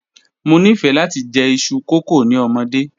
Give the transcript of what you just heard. Mo nifẹ lati jẹ iṣu kókò ni ọmọde.